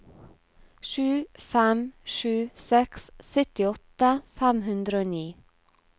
sju fem sju seks syttiåtte fem hundre og ni